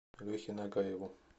лехе нагаеву